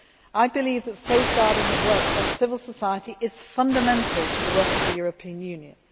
I believe that safeguarding the work of civil society is fundamental to the work of the European Union.